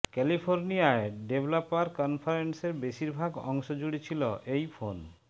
ক্যালিফোর্নিয়ায় developer কনফারেন্সের বেশিরভাগ অংশ জুড়ে ছিল এই ফোন